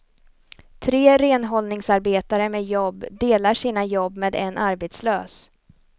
Tre renhållningsarbetare med jobb delar sina jobb med en arbetslös.